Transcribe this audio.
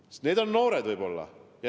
Suur oht on just noored.